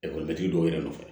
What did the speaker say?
Ekɔlitigi dɔw yɛrɛ nɔfɛ